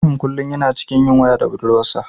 Ibrahim kullum yana cikin yin waya da budurwarsa.